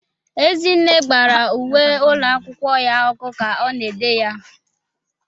Ezinne gbara uwe ụlọ akwụkwọ ya ọkụ ka ọ na-ede ya.